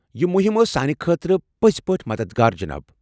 یہ مہم ٲس سانہِ خٲطرٕ پٔزۍ پٲٹھۍ مددگار، جناب۔